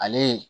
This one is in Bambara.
Ale